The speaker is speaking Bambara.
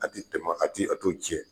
A tɛ tam'a kan, a tɛ a t'o jɛ.